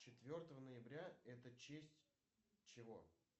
четвертого ноября это честь чего